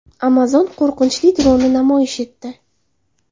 Amazon qo‘riqchi-dronni namoyish etdi.